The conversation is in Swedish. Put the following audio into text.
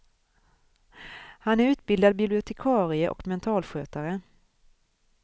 Han är utbildad bibliotekarie och mentalskötare.